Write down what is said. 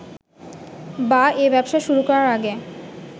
বা এ ব্যবসা শুরু করার আগে